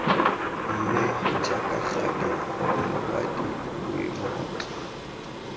mme jaaka gale morwadie boingotlo